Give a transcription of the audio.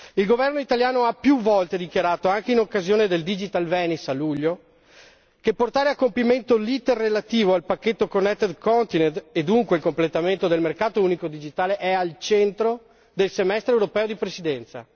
Il governo italiano ha più volte dichiarato, anche in occasione del Digital Venice a luglio, che portare a compimento l'iter relativo al pacchetto Connected Continent, e dunque al completamento del mercato unico digitale, è al centro del semestre europeo di Presidenza.